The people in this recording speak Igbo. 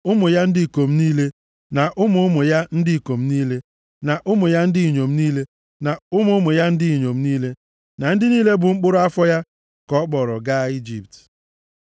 Ụmụ ya ndị ikom niile, na ụmụ ụmụ ya ndị ikom niile, na ụmụ ya ndị inyom niile, na ụmụ ụmụ ya ndị inyom niile, na ndị niile bụ mkpụrụ afọ ya, ka ọ kpọrọ gaa Ijipt.